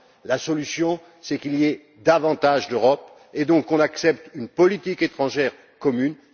La solution, c'est qu'il y ait davantage d'Europe et qu'on accepte une politique étrangère commune.